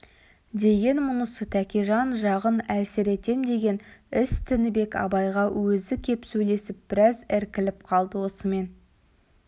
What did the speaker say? деген мұнысы тәкежан жағын әлсіретем деген іс тінібек абайға өзі кеп сөйлесіп біраз іркіліп қалды осымен